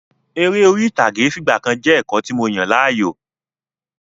Eré orí ìtàgé fìgbàkan jẹ́ ẹ̀kọ́ tí mo yàn láàyò.